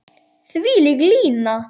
Þvílík lína.